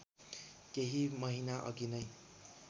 केही महिनाअघि नै